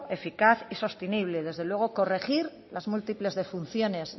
eficaz y sostenible y desde luego corregir las múltiples defunciones